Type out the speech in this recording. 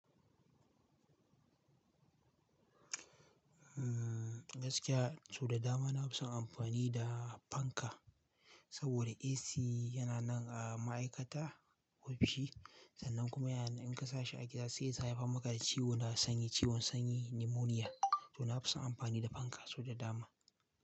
Mm, gaskiya sau da dama na fi son amfani da fanka saboda AC yana nan a ma'aikata ofishi sannan kuma in ka sa shi a gida sai ta haifar maka da ciwo na sanyi, ciwon sanyi, pneumonia. To na fi son amfani da fanka sau da dama.